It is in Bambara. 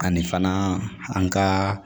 Ani fana an ka